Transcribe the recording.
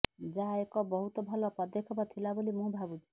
ଯାହା ଏକ ବହୁତ ଭଲ ପଦକ୍ଷେପ ଥିଲା ବୋଲି ମୁଁ ଭାବୁଛି